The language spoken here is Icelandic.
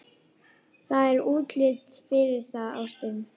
Það er útlit fyrir það, ástin.